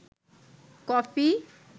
coffee